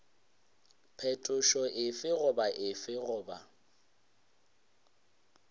phetošo efe goba efe goba